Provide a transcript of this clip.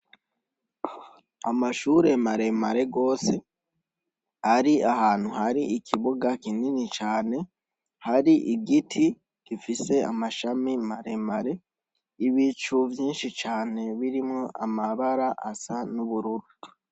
Amashure maremare gose, ari ahantu hari ikibuga kinini cane, hari ibiti gifise Amashami maremare, ibicu vyinshi cane birimwo amabara asa n'ubururu.